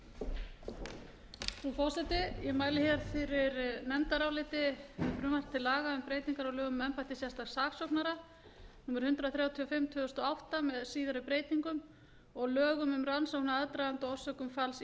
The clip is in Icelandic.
breytingar á lögum um embætti sérstaks saksóknara númer hundrað þrjátíu og fimm tvö þúsund og átta með síðari breytingum og lögum um rannsókn á aðdraganda og orsökum falls